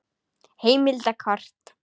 Heimild og kort